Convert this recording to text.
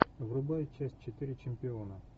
врубай часть четыре чемпиона